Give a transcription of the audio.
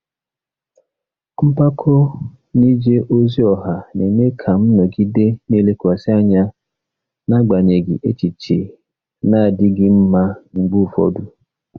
Mpako n'ije ozi ọha na-eme ka m nọgide na-elekwasị anya n'agbanyeghị echiche na-adịghị mma mgbe ụfọdụ.